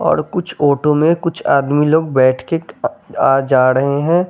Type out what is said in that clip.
और कुछ ऑटो में कुछ आदमी लोग बैठ के आ जा रहे हैं।